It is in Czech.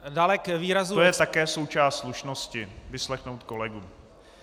To je také součást slušnosti, vyslechnout kolegu.